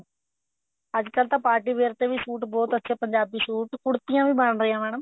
ਅੱਜਕਲ ਤਾਂ party wear ਤੇ ਵੀ suit ਬਹੁਤ ਅੱਛੇ ਪੰਜਾਬੀ suit ਕੁੜਤੀਆਂ ਵੀ ਬਣ ਰਹੀਆਂ madam